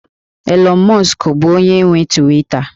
Elon Musk bụ onye nwe Twita